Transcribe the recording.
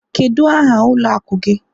Kedu aha ụlọ akụ gị?